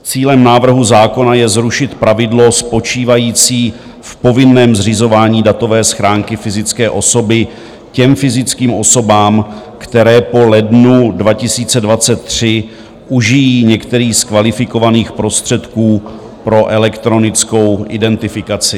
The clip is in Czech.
Cílem návrhu zákona je zrušit pravidlo spočívající v povinném zřizování datové schránky fyzické osoby těm fyzickým osobám, které po lednu 2023 užijí některý z kvalifikovaných prostředků pro elektronickou identifikaci.